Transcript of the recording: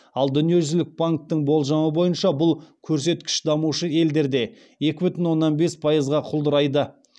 ал дүниежүзілік банктің болжамы бойынша бұл көрсеткіш дамушы елдерде екі бүтін оннан бес пайызға құлдырайды